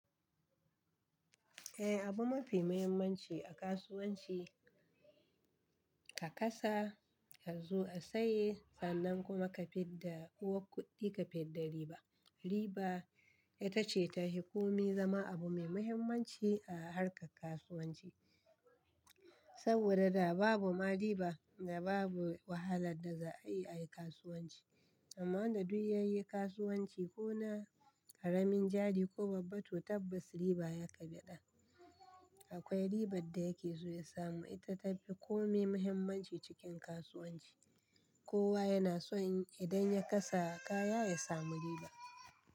Eh abu mafi muhimmanci a kasuwanci ka kasa, azo a saye sannan kuma ka fidda. Uwar kuɗi ka fidda riba. Riba ita ce ta hikomi zama abu mai muhimmanci a harkar kasuwanci. Saboda da babu ma riba da babu wahala da za a yi a yi kasuwanci. Amma wanda duk ya yi kasuwanci ko na ƙaramin jari ko babba to tabbas riba ya kaɓe ɗa. Akwai ribar da yake so ya samu, ita ta fi kome muhimmanci cikin kasuwanci. Kowa yana so idan ya kasa kaya ya samu riba.